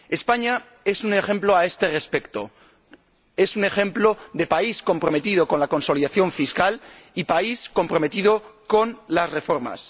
España es un ejemplo a este respecto, es un ejemplo de país comprometido con la consolidación fiscal y país comprometido con las reformas.